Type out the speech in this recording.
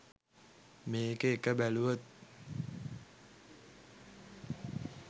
මේකේ එක බැලුවොත්